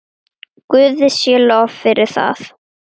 Guði sé lof fyrir það.